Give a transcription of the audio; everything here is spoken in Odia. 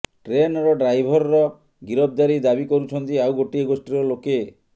ଟ୍ରେନର ଡ୍ରାଇଭରର ଗିରଫଦାରି ଦାବି କରୁଛନ୍ତି ଆଉ ଗୋଟିଏ ଗୋଷ୍ଠୀର ଲୋକେ